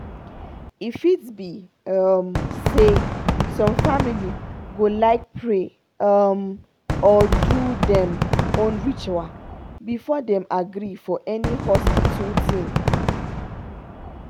e fit be um say some family go like pray um or do dem own ritual before dem agree for any hospital thing.